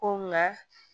Ko nka